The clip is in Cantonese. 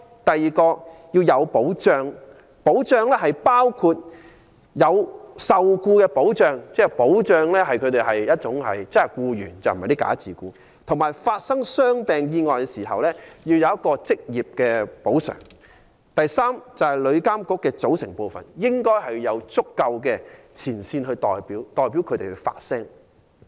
第二，為僱員提供就業保障，而非以"假自僱"的形式受聘；及在發生傷病意外時，應獲得職業補償。第三，旅監局應有足夠的前線代表組成，以便為前線員工發聲。